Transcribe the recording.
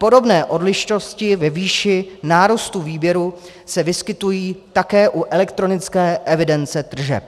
Podobné odlišnosti ve výši nárůstu výběru se vyskytují také u elektronické evidence tržeb.